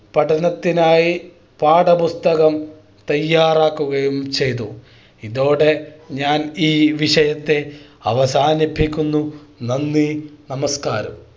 പഠനത്തിനായി പാഠപുസ്തകം തയ്യാറാക്കുകയും ചെയ്തു ഇതോടെ ഞാൻ ഈ വിഷയത്തെ അവസാനിപ്പിക്കുന്നു നന്ദി നമസ്ക്കാരം